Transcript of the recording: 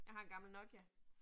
Jeg har en gammel Nokia